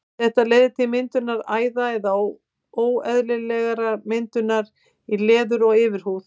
Þetta leiðir til myndunar æða eða óeðlilegrar litmyndunar í leður- og yfirhúð.